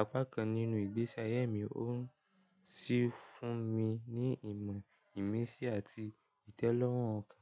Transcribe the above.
apá kan nínú ìgbésí ayé mi ó ń sì fún mi ní ìmọ̀, ìmísí àti ìtẹ́lọ́rùn ọkàn.